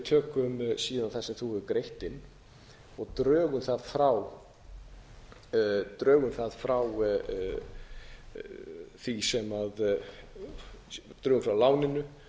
tökum síðan það sem þú hefur greitt inn og drögum það frá því sem drögum frá láninu